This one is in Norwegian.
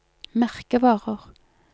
merkevarer